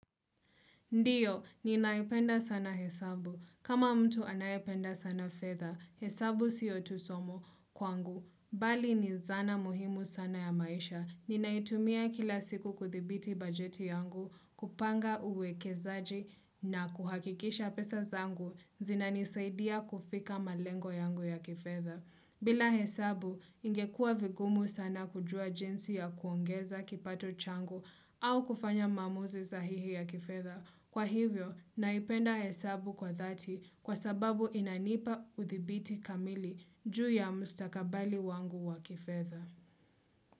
Ndiyo, ninaipenda sana hesabu. Kama mtu anayependa sana fedha, hesabu sio tu somo kwangu. Bali ni zana muhimu sana ya maisha. Ninaitumia kila siku kuthibiti bajeti yangu, kupanga uwekezaji na kuhakikisha pesa zangu, zina nisaidia kufika malengo yangu ya kifedha. Bila hesabu, ingekuwa vigumu sana kujua jinsi ya kuongeza kipato changu au kufanya maamuzi sahihi ya kifedha. Kwa hivyo, naipenda hesabu kwa thati kwa sababu inanipa uthibiti kamili juu ya mustakabali wangu wakifedha.